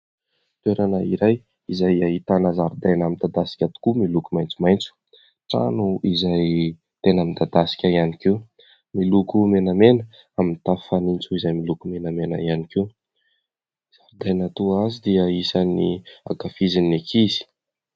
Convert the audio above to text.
Toerana iray izay ahitana zaridaina midadasika tokoa miloko maitsomaitso. Trano izay tena midadasika ihany koa miloko menamena, mitafo fanitso izay miloko menamena ihany koa. Ny zaridaina toa azy dia isany ankafizin'ny ankizy.